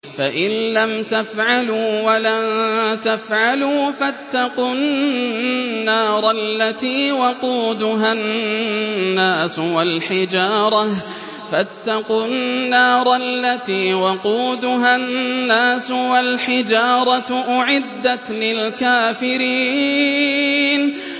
فَإِن لَّمْ تَفْعَلُوا وَلَن تَفْعَلُوا فَاتَّقُوا النَّارَ الَّتِي وَقُودُهَا النَّاسُ وَالْحِجَارَةُ ۖ أُعِدَّتْ لِلْكَافِرِينَ